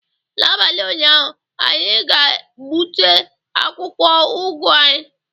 N'abalị ụnyaahụ, anyị ga-gbute akwụkwọ ụgụ anyị